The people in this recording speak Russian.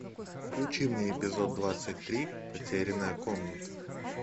включи мне эпизод двадцать три потерянная комната